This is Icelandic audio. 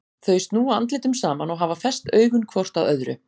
Þau snúa andlitum saman og hafa fest augun hvort á öðru.